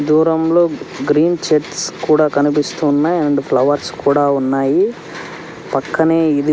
దూరంలో గ్రీన్ చెట్స్ కూడా కనిపిస్తున్నయి అండ్ ఫ్లవర్స్ కూడా ఉన్నాయి. పక్కనే ఇది --